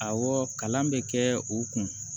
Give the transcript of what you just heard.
Awɔ kalan bɛ kɛ u kun